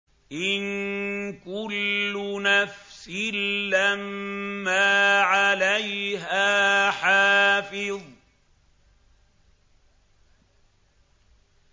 إِن كُلُّ نَفْسٍ لَّمَّا عَلَيْهَا حَافِظٌ